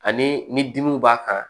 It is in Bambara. Ani ni dimiw b'a kan